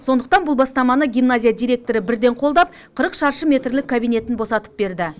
сондықтан бұл бастаманы гимназия директоры бірден қолдап қырық шаршы метрлік кабинетін босатып берді